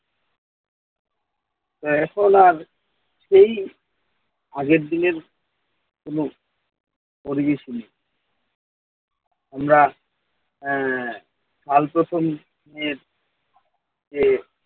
তো এখন আর সেই আগের দিনের কোনো পরিবেশ নেই। আমরা আহ কাল প্রথম এর আহ